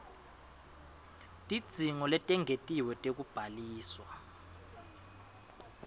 tidzingo letengetiwe tekubhaliswa